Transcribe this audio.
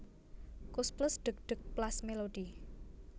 Koes Plus Dheg dheg Plas Melody